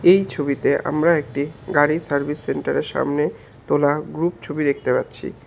এই ছবিতে আমরা একটি গাড়ি সার্ভিস সেন্টারের সামনে তোলা গ্রুপ ছবি দেখতে পাচ্ছি।